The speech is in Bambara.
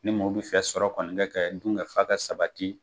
Ni mɔw bi fɛ sɔrɔ kɔni ka kɛ dunkafa ka sabati.